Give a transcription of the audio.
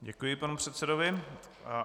Děkuji panu předsedovi.